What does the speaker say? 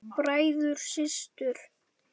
Bræður og systur!